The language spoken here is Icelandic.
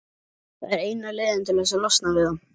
Það er eina leiðin til að losna við það.